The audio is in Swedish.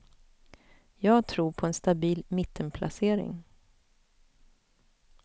Jag tror på en stabil mittenplacering.